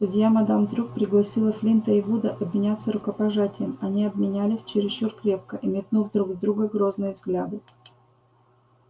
судья мадам трюк пригласила флинта и вуда обменяться рукопожатием они обменялись чересчур крепко и метнув друг в друга грозные взгляды